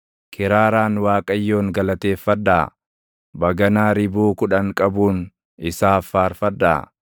Kiraaraan Waaqayyoon galateeffadhaa; baganaa ribuu kudhan qabuun isaaf faarfadhaa.